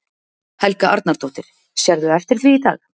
Helga Arnardóttir: Sérðu eftir því í dag?